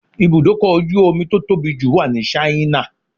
Ibùdókọ̀ ojú omi tó tóbi jù wà ní Ṣáínà